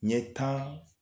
Ɲɛ taan